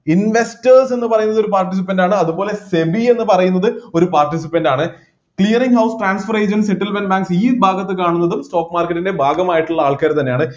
investors എന്നുപറയുന്നത് ഒരു participant ആണ് അതുപോലെ SEBI എന്നുപറയുന്നത് ഒരു participant ആണ് hearing of transfer agent settlement and ഈ ഭാഗത്ത് കാണുന്നതും stock market ൻ്റെ ഭാഗമായിട്ടുള്ള ആൾക്കാർ തന്നെയാണ്